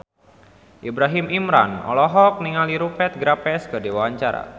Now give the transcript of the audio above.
Ibrahim Imran olohok ningali Rupert Graves keur diwawancara